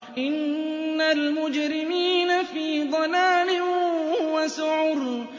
إِنَّ الْمُجْرِمِينَ فِي ضَلَالٍ وَسُعُرٍ